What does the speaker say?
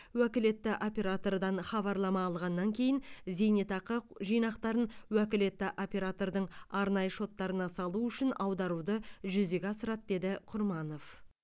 уәкілетті оператордан хабарлама алғаннан кейін зейнетақы жинақтарын уәкілетті оператордың арнайы шоттарына салу үшін аударуды жүзеге асырады деді құрманов